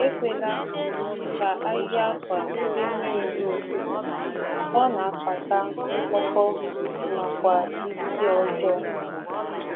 Ekwesịghị ikwe ka akwa um mmiri dinara n’abalị, ọ um na-eme ka ọ bụrụ mkpọkọ um na isi ísì.